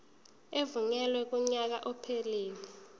evunyelwe kunyaka ophelele